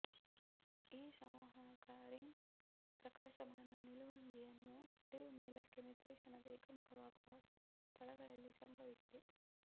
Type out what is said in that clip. ಈ ಸಂವಾಹಕ ರಿಂಗ್ ಪ್ರಕಾಶಮಾನ ನಿಲುವಂಗಿಯನ್ನು ಹರಿವು ಮೇಲಕ್ಕೆ ನಿರ್ದೇಶನದ ಏಕಮುಖವಾಗುವ ಸ್ಥಳಗಳಲ್ಲಿ ಸಂಭವಿಸಿದೆ